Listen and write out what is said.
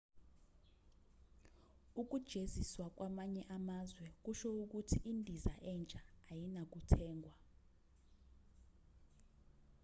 ukujeziswa kwamanye amazwe kusho ukuthi indiza entsha ayinakuthengwa